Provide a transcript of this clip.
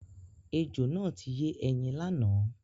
Ejò náà ti yé ẹyin lánàá.